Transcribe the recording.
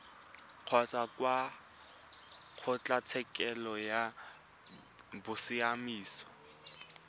kgotsa kwa kgotlatshekelo ya bosiamisi